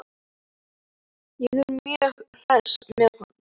Ég er mjög hress með hann.